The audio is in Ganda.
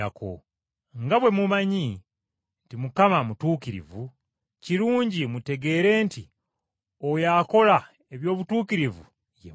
Nga bwe mumanyi nti Mukama mutuukirivu, kirungi mutegeere nti oyo akola eby’obutuukirivu ye mwana we.